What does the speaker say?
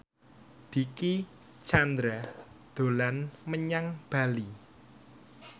Dicky Chandra dolan menyang Bali